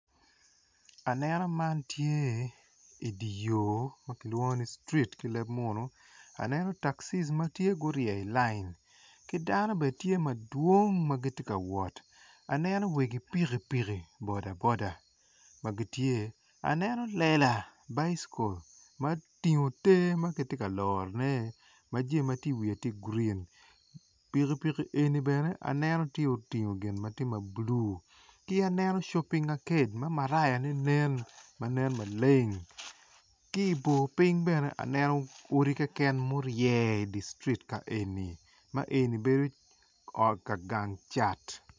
Aneno man tye dye yo ma kilwongo ni street ileb munu aneno takci ma tye gurye i layin ki dano bene tye madwong ma gitye ka wot aneno wegi pikipiki boda boda aneno lela ma otingo te ma kitye ka lorone ma jami ma iwiye tye grin. Pikipiki eni bene aneno tye otingo gin ma tye ma blue ki aneno shopping aked marayane nen ma nen maleng ki i bor piny bene aneno odi keken ma orye idi street ka eni ma eni bedo ka gang cat.